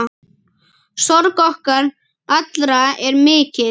Sorg okkar allra er mikil.